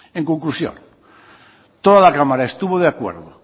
en conclusión toda la cámara estuvo de acuerdo